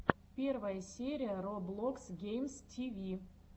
первая серия роблокс геймс тиви